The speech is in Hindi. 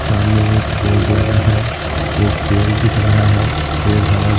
सामने एक बोर्ड लगा है एक पेड़ दिख रहा है पेड़ हरा --